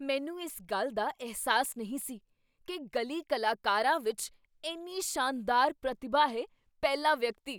ਮੈਨੂੰ ਇਸ ਗੱਲ ਦਾ ਅਹਿਸਾਸ ਨਹੀਂ ਸੀ ਕੀ ਗਲੀ ਕਲਾਕਰਵਾਂ ਵਿੱਚ ਇੰਨੀ ਸ਼ਾਨਦਾਰ ਪ੍ਰਤਿਭਾ ਹੈ ਪਹਿਲਾ ਵਿਅਕਤੀ